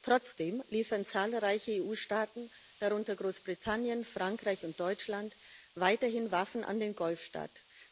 Trotzdem liefern zahlreiche EU Staaten darunter Großbritannien, Frankreich und Deutschland weiterhin Waffen an den Golfstaat.